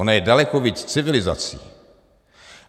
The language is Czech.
Ona je daleko víc civilizací.